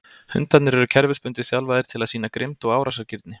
Hundarnir eru kerfisbundið þjálfaðir til að sýna grimmd og árásargirni.